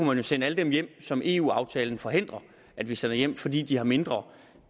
man jo sende alle dem hjem som eu aftalen forhindrer at vi sender hjem fordi de har mindre